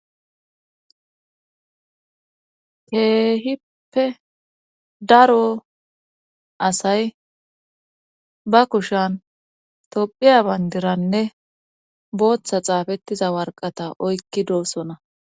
keehippe daro asay ba kushan tophiya bayndiranne booththa xaafettiza warqata oykki doossona